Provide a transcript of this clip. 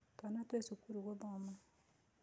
Twana twĩ cukuru gũthoma